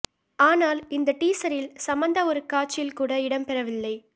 ஆனால் இந்த டீசரில் சமந்தா ஒரு காட்சியில் கூட இடம்பெறவில்லை